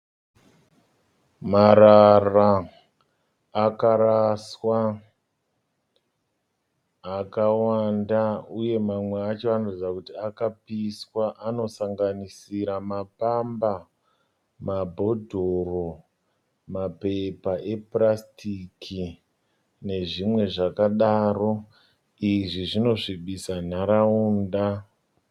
Marara akaraswa akawanda uye mamwe acho anoratidza kuti akapiswa anosanganisira mapamba mabhodhoro mapepa epurasitiki nezvimwe zvakadaro izvi zvinosvibisa nharaunda.